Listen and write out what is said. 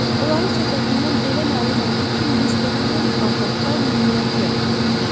Onların söhbətindən belə məlum oldu ki, Miss Debenham Bağdadda mürəbbiyəlik edirmiş.